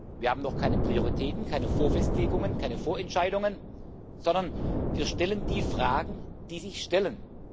Wir haben noch keine Prioritäten, keine Vorfestlegungen, keine Vorentscheidungen, sondern wir stellen die Fragen, die sich stellen.